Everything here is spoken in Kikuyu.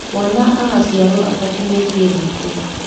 Mwana angĩciarwo atakinyĩtie thikũ